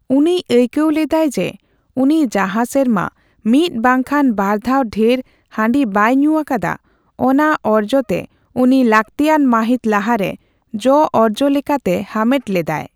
ᱩᱱᱤᱭ ᱟᱹᱭᱠᱟᱹᱣ ᱞᱮᱫᱟᱭ ᱡᱮ, ᱩᱱᱤ ᱡᱟᱦᱟ ᱥᱮᱨᱢᱟ ᱢᱤᱫ ᱵᱟᱝᱠᱷᱟᱱ ᱵᱟᱨᱫᱷᱟᱣ ᱰᱷᱮᱨ ᱦᱟᱸᱹᱰᱤ ᱵᱟᱭ ᱧᱩ ᱟᱠᱟᱫᱟ, ᱚᱱᱟ ᱚᱨᱡᱚᱛᱮ ᱩᱱᱤ ᱞᱟᱹᱠᱛᱤᱭᱟᱱ ᱢᱟᱹᱦᱤᱛ ᱞᱟᱦᱟᱨᱮ ᱡᱚ ᱚᱨᱡᱚᱞᱮᱠᱟᱛᱮ ᱦᱟᱢᱮᱴ ᱞᱮᱫᱟᱭ᱾